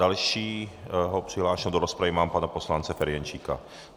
Dalšího přihlášeného do rozpravy mám pana poslance Ferjenčíka.